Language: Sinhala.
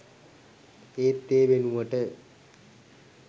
ඒත් ඒ වෙනුවට